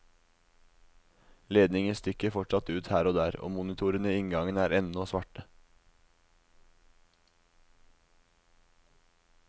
Ledninger stikker fortsatt ut her og der, monitorene i inngangen er ennå svarte.